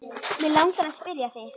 Mig langar að spyrja þig.